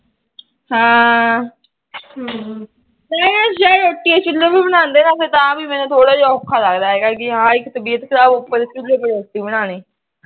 ਰੋਟੀਆਂ ਚੁਲੇ ਤੇ ਬਣਾਦੇ ਨਾ ਫਿਰ ਤਾ ਵੀ ਮੈਨੂੰ ਥੋੜਾ ਜਾ ਅੋਖਾ ਲੱਗਦਾ ਪੀ ਹਾ ਇੱਕ ਤਬੀਅਤ ਖਰਾਬ ਉਪਰ ਤੇ ਚੁਲੇ ਪਰ ਰੋਟੀ ਬਣਾਣੀ